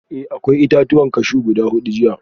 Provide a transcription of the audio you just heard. Eh akwai itatuwan cashew guda hudu jiya